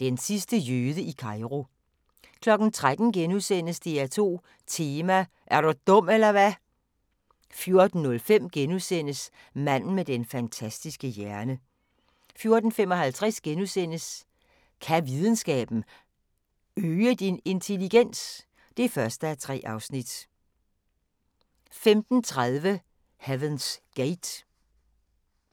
Den sidste jøde i Kairo * 13:00: DR2 Tema: Er du dum eller hvad? * 14:05: Manden med den fantastiske hjerne * 14:55: Kan videnskaben – øge din intelligens? (1:3)* 15:30: Heaven's Gate